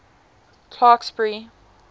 clarksburry